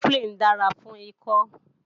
Cofflin dára fún ikọ́